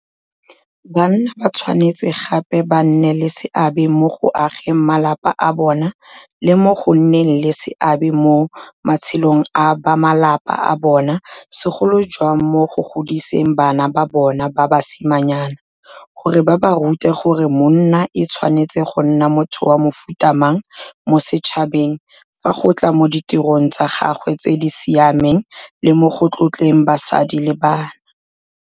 Banna ba tshwanetse gape ba nne le seabe mo go ageng malapa a bona le mo go nneng le seabe mo matshelong a bamalapa a bona, segolo jang mo go godiseng bana ba bona ba basimanyana, gore ba ba rute gore monna e tshwanetse go nna motho wa mofuta mang mo setšhabeng fa go tla mo ditirong tsa gagwe tse di siameng le mo go tlotleng basadi le bana.